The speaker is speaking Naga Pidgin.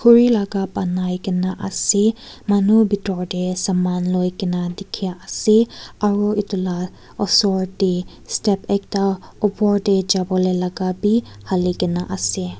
khuri laga banaikena ase manu bitor te saman loikena dikhi ase aru etu laa osor te step ekta opor te jabo le laka bi hali kena ase.